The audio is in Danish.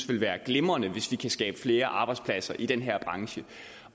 vil være glimrende hvis vi kan skabe flere arbejdspladser i den her branche